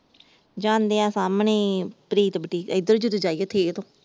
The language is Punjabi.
ਜਾਂਦਿਆ ਸਾਮਣੇ ਈ ਪ੍ਰੀਤ ਬੁਟੀਕ ਇਧਰੋਂ ਜਦੋ ਜਾਈਏ ਥੀਐ ਤੋਂ ।